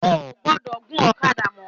Ó ò gbọ́dọ̀ gun ọ̀kadà mọ